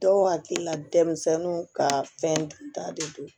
Dɔw hakili la denmisɛnninw kaa fɛn ta de don